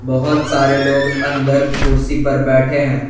बहोत सारे लोग अंदर कुर्सी पर बैठे हैं।